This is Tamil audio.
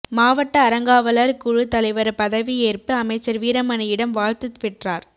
மாவட்ட அறங்காவலர் குழு தலைவர் பதவியேற்பு அமைச்சர் வீரமணியிடம் வாழ்த்து பெற்றார்